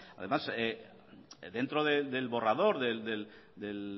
además dentro del borrador de